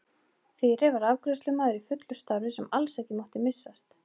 Fyrir var afgreiðslumaður í fullu starfi sem alls ekki mátti missast.